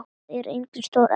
Þar er einnig stórt eldhús.